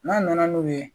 N'a nana n'u ye